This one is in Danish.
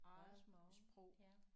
Modersmål ja